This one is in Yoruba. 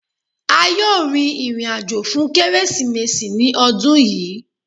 À yóò rìn ìrìn-àjọ́ fún Kérésììméṣí ní ọ̀dún yìí.